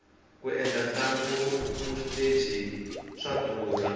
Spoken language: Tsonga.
ku endla ntlangu wa xiteji swa durha